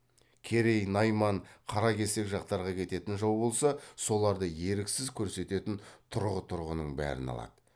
керей найман қаракесек жақтарға кететін жау болса соларды еріксіз көрсететін тұрғы тұрғының бәрін алады